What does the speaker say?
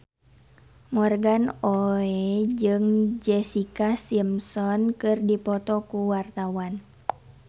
Morgan Oey jeung Jessica Simpson keur dipoto ku wartawan